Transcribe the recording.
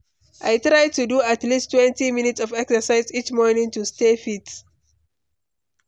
I try to do at leasttwentyminutes of exercise each morning to stay fit.